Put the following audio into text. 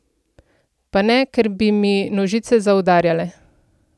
Pa ne, ker bi mi nožice zaudarjale.